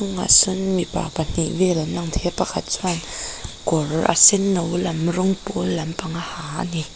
sawn mipa pahnih vel an lang thei a pakhat chuan kawr a senno lam rawng pawl lampang a ha a ni.